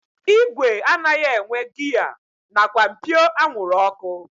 Igwe anaghị enwe giya nakwa mpio anwụrụ ọkụ